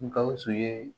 Gawusu ye